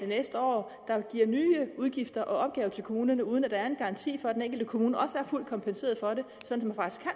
næste år der giver nye udgifter og opgaver til kommunerne uden at der er en garanti for at den enkelte kommune også er fuldt kompenseret for det sådan